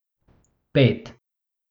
Pet.